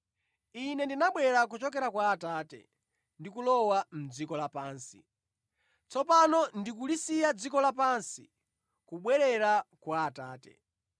Ine ndinabwera kuchokera kwa Atate ndi kulowa mʼdziko lapansi. Tsopano ndikulisiya dziko lapansi kubwerera kwa Atate.”